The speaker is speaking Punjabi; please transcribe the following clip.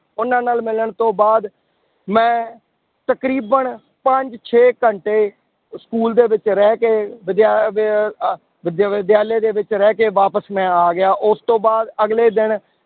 ਉਹਨਾਂ ਨਾਲ ਮਿਲਣ ਤੋਂ ਬਾਅਦ ਮੈਂ ਤਕਰੀਬਨ ਪੰਜ ਛੇ ਘੰਟੇ school ਦੇ ਵਿੱਚ ਰਹਿ ਕੇ ਵਿਦਿਆ ਦੇ ਅਹ ਵਿਦ ਵਿਦਿਆਲੇ ਦੇ ਵਿੱਚ ਰਹਿ ਕੇ ਵਾਪਸ ਮੈਂ ਆ ਗਿਆ, ਉਸ ਤੋਂ ਬਾਅਦ ਅਗਲੇ ਦਿਨ